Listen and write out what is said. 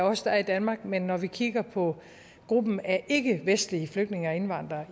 af os der er i danmark men når vi kigger på gruppen af ikkevestlige flygtninge og indvandrere